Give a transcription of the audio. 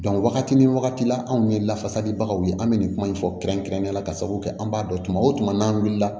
wagati ni wagati la anw ye lafasalibagaw ye an bɛ nin kuma in fɔ kɛrɛnkɛrɛnnenya la ka sababu kɛ an b'a dɔn tuma o tuma n'an wulila